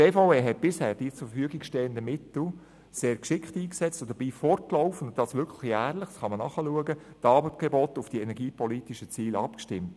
Die BVE hat bisher die zur Verfügung stehenden Mittel sehr geschickt eingesetzt und dabei fortlaufend, wirklich jährlich – das kann man nachschauen – die Angebote auf die energiepolitischen Ziele abgestimmt.